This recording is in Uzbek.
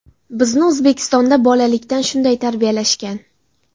Bizni O‘zbekistonda bolalikdan shunday tarbiyalashgan.